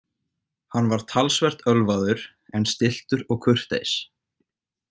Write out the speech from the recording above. Hann var talsvert ölvaður en stilltur og kurteis.